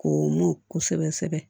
Ko mun kosɛbɛ sɛbɛ